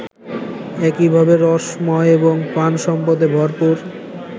একইভাবে রসময় এবং প্রাণসম্পদে ভরপুর